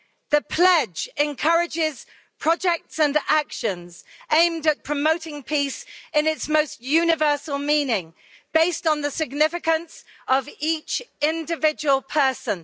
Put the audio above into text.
The pledge encourages projects and actions aimed at promoting peace in its most universal meaning, based on the significance of each individual person.